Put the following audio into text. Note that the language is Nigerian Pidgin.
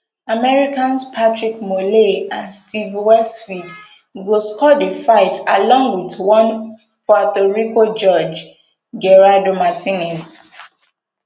americans patrick morley and steve weisfeld go score di fight along wit one puerto rico judge gerardo martinez